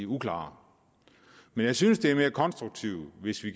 uklare men jeg synes at det er mere konstruktivt hvis vi